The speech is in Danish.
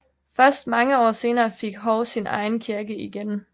Først mange år senere fik Hov sin egen kirke igen